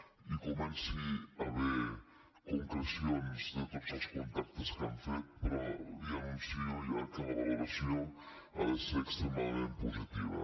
quan hi comenci a haver concrecions de tots els contactes que han fet però li anuncio ja que la valoració ha de ser extremadament positiva